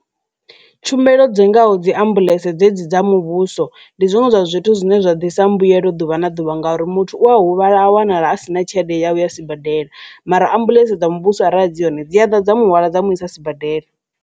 Tshumelo dzi ngaho dzi ambuḽentse dze dzi dza muvhuso ndi zwiṅwe zwa zwithu zwine zwa ḓisa mbuyelo ḓuvha na ḓuvha ngauri muthu u a huvhala a wanala a sina tshelede yawu ya sibadela mara ambuḽentse dza muvhuso arali dzi hone dzi a ḓa dza muhwala dza mu isa sibadela.